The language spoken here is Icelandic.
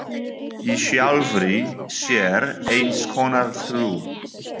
Í sjálfri sér eins konar trú.